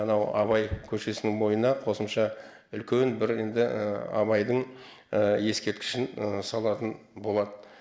анау абай көшесінің бойына қосымша үлкен бір енді абайдың ескерткішін салатын болады